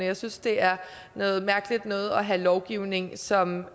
jeg synes det er noget mærkeligt noget at have lovgivning som